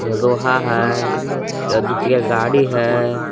ये लोहा है ये दोचाकिआ गाड़ी है।